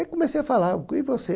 Aí comecei a falar, e você?